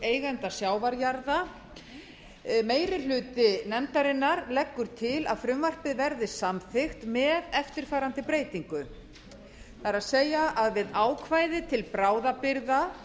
eigenda sjávarjarða meiri hluti nefndarinnar leggur til að frumvarpið verði samþykkt með eftirfarandi breytingu það er að við ákvæði til bráðabirgða